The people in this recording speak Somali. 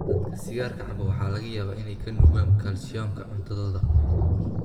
Dadka sigaarka cabba waxaa laga yaabaa inay ka nuugaan kalsiyumka cuntadooda.